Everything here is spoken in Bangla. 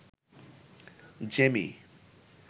জেমি